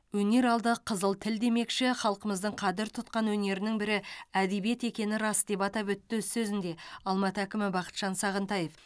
өнер алды қызыл тіл демекші халқымыздың қадір тұтқан өнерінің бірі әдебиет екені рас деп атап өтті өз сөзінде алматы әкімі бақытжан сағынтаев